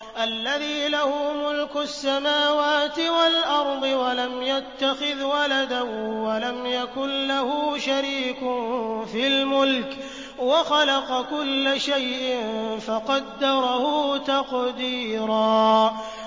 الَّذِي لَهُ مُلْكُ السَّمَاوَاتِ وَالْأَرْضِ وَلَمْ يَتَّخِذْ وَلَدًا وَلَمْ يَكُن لَّهُ شَرِيكٌ فِي الْمُلْكِ وَخَلَقَ كُلَّ شَيْءٍ فَقَدَّرَهُ تَقْدِيرًا